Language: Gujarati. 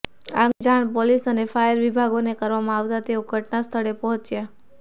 આગની જાણ પોલીસ અને ફાયર વિભાગને કરવામાં આવતા તેઓ ઘટના સ્થળે પહોંચ્યા